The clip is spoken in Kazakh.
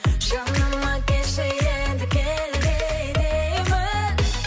жаныма келші енді кел дей деймін